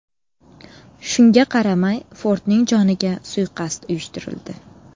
Shunga qaramay Fordning joniga suiqasd uyushtirildi.